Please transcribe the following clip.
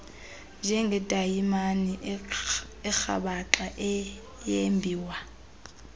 njengedayimani erhabaxa eyembiwa